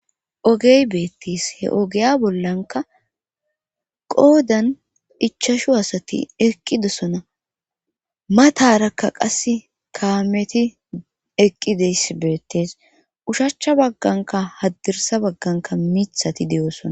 Ogey beettis he ogiya bollanka qoodan ichashu asati eqqidesona matarakka qas kaameti eqqides beettes ushachcha bagganka haddirsa bagganka mithati de'osona.